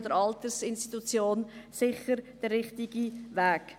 Das ist sicher der richtige Weg.